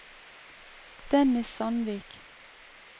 Dennis Sandvik